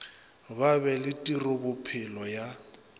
ba be le tirobophelo ya